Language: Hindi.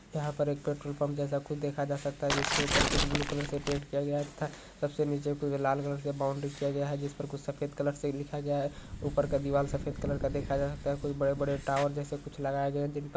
यहाँ पर एक पेट्रोल पंप जैसा कुछ देखा जा सकता है जिसके ऊपर कुछ ब्लू कलर से पेंट किया गया है तथा सबसे नीचे कुछ लाल कलर सा बाउंडरी किया गया है जिस पर कुछ सफ़ेद कलर से लिखा गया है ऊपर का दीवाल सफ़ेद कलर का देखा जा सकता है कुछ बड़े बड़े टॉवर जैसा कुछ लगाया गया है जिन पर--